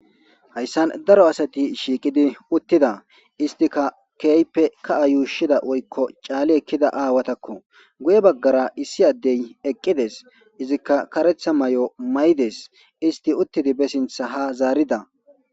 Hayssan daro asati shiiqidi uttida istika keype ka7a yuushida woykko caali ekkida aawatakko guye baggara issi addey eqqides izikka karetha may7o may7ides isti uttidi bessintha ha zaarida.